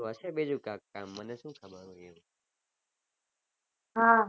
હા